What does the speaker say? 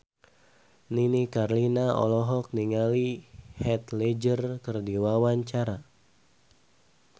Nini Carlina olohok ningali Heath Ledger keur diwawancara